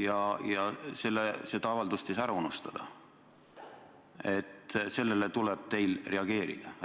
ja et seda avaldust ei tohi ära unustada, sellele tuleb teil reageerida?